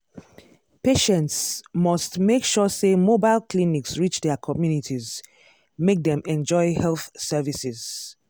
patients must make sure say mobile clinics reach their communities make them enjoy health services.